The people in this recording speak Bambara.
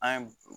An ye